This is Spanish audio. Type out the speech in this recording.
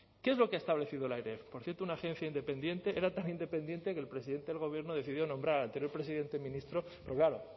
qué es lo que ha establecido la airef por cierto una agencia independiente era tan independiente que el presidente del gobierno decidió nombrar al anterior presidente ministro pero claro